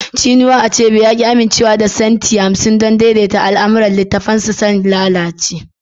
Chinua Achebe ya ki amincewa da centi hamsin don daidaita al'amuran littafinsa sun lalace